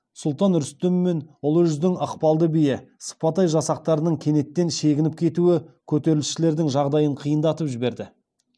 сұлтан рүстем мен ұлы жүздің ықпалды биі сыпатай жасақтарының кенеттен шегініп кетуі көтерілісшілердің жағдайын қиындатып жіберді